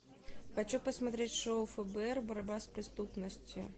хочу посмотреть шоу фбр борьба с преступностью